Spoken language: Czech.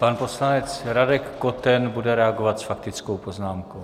Pan poslanec Radek Koten bude reagovat s faktickou poznámkou.